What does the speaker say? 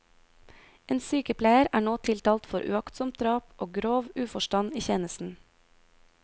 En sykepleier er nå tiltalt for uaktsomt drap og grov uforstand i tjenesten.